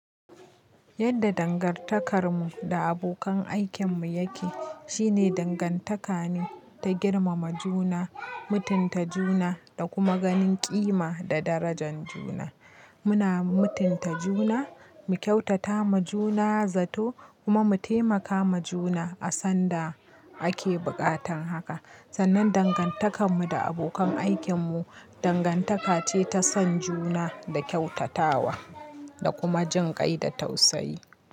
Yadda dangantakarmu da abokan aikinmu yake shine dangantaka ne ta girmama juna, mutunta juna da kuma ganin ƙima da darajan juna. Muna mutunta juna, mu kyautata ma juna zato kuma mu taimaka ma juna a san da ake buƙatan haka. Sannan dangantakanmu da abokan aikinmu dangantaka ce ta son juna da kyautatawa da kuma jinƙai da tausayi.